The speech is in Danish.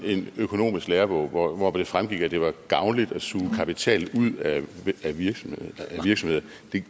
en økonomisk lærebog hvoraf det fremgik at det var gavnligt at suge kapital ud af virksomhederne